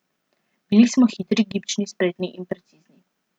Bili smo hitri, gibčni, spretni in precizni.